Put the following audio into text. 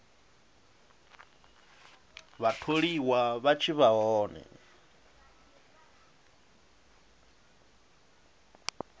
vhatholiwa vha tshi vha hone